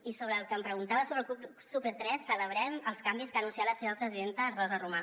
i sobre el que em preguntava sobre el club super3 celebrem els canvis que ha anunciat la seva presidenta rosa romà